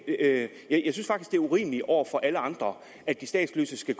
det er urimeligt over for alle andre at de statsløse skal